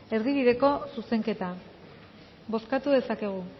erdibideko zuzenketa bozkatu dezakegu